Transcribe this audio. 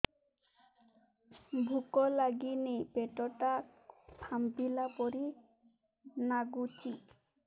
ଭୁକ ଲାଗୁନି ପେଟ ଟା ଫାମ୍ପିଲା ପରି ନାଗୁଚି